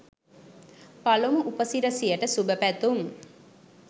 පළමු උපසිරසියට සුභපැතුම්.